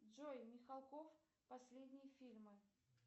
джой михалков последние фильмы